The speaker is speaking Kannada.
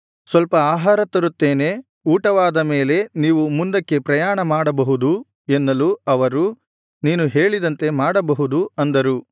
ಸ್ವಲ್ಪ ಆಹಾರ ತರುತ್ತೇನೆ ಊಟವಾದ ಮೇಲೆ ನೀವು ಮುಂದಕ್ಕೆ ಪ್ರಯಾಣ ಮಾಡಬಹುದು ಎನ್ನಲು ಅವರು ನೀನು ಹೇಳಿದಂತೆ ಮಾಡಬಹುದು ಅಂದರು